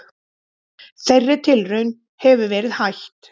Þeirri tilraun hefur verið hætt.